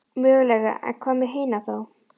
Mögulega en hvað með hina þá?